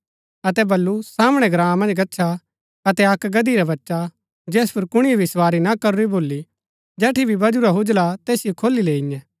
अतै वलु सामणै ग्राँ मन्ज गच्छा अतै अक्क गदही रा बच्चा जैस पुर कुणिए भी सवारी न करूरी भोली जेठी भी वजूरा हूजला ता तैसिओ खोली लैईयेंं